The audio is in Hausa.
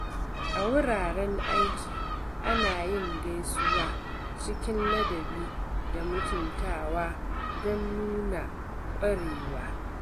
A wuraren aiki, ana yin gaisuwa cikin ladabi da mutuntawa don nuna ƙwarewa.